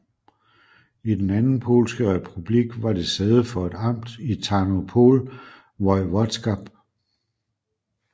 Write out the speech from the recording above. I Den anden polske republik var det sæde for et amt i Tarnopol voivodskab